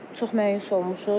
Çox məyus olmuşuq.